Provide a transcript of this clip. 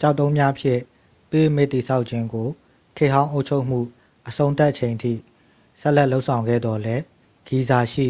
ကျောက်တုံးများဖြင့် ပိရမစ်တည်ဆောက်ခြင်းကို ခေတ်ဟောင်းအုပ်ချုပ်မှုအဆုံးသတ်ချိန်အထိ ဆက်လက်လုပ်ဆောင်ခဲ့သော်လည်း ဂီဇာရှိ